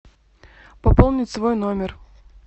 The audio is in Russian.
пополнить свой номер